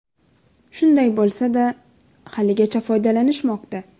Shunday bo‘lsa-da, haligacha foydalanishmoqda.